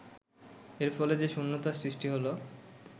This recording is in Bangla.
এর ফলে যে শূন্যতার সৃষ্টি হলো